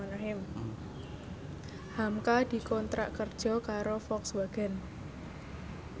hamka dikontrak kerja karo Volkswagen